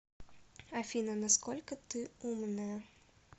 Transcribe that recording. афина на сколько ты умная